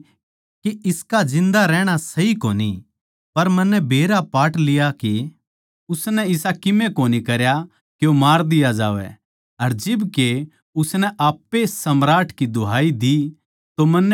पर मन्नै बेरा पाट लिया के उसनै इसा कीमे कोनी करया के मार दिया जा अर जिब के उसनै आप्पे ए सम्राट की दुहाई दी तो मन्नै उस ताहीं खन्दाण का फैसला करया